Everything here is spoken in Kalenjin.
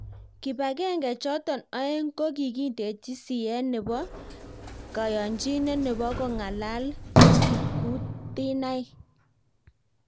kibagenge chotok aeng kokiindeji siyet nebo kayanchinet nebo kongalal kipkutinak